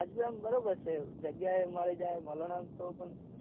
તાજપુરા માં બરાબર છે જગ્યા એ મળી જાય માળાના માં તો શું પણ